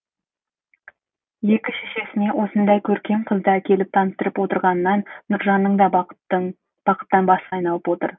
екі шешесіне осындай көркем қызды әкеліп таныстырып отырғанынан нұржанның да бақыттан басы айналып отыр